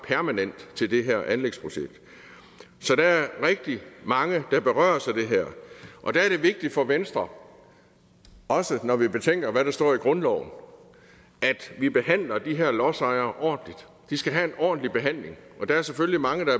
permanent til det her anlægsprojekt så der er rigtig mange der berøres af det her og der er det vigtigt for venstre også når vi betænker hvad der står i grundloven at vi behandler de her lodsejere ordentligt de skal have en ordentlig behandling der er selvfølgelig mange der